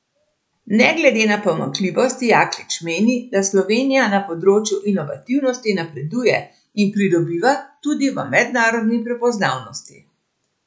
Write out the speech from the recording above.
Ne glede na pomanjkljivosti Jaklič meni, da Slovenija na področju inovativnosti napreduje in pridobiva tudi v mednarodni prepoznavnosti.